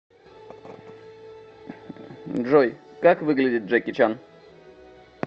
джой как выглядит джеки чан